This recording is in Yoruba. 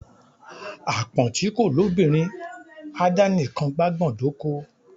Àpọ́n ti kò lóbìnrin á dá nikàn gbágbọ̀n dóko.